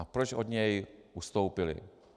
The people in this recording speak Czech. A proč od něj ustoupili?